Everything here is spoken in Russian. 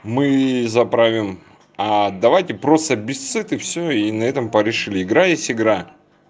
мы заправим а давайте просто без суеты всё и на этом порешили игра есть игра